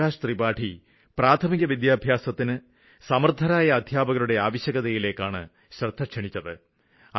പ്രകാശ് ത്രിപാഠി പ്രാഥമിക വിദ്യാഭ്യാസത്തിന് സമര്ത്ഥരായ അദ്ധ്യാപകരുടെ ആവശ്യകതയിലേക്കാണ് ശ്രദ്ധ ക്ഷണിച്ചത്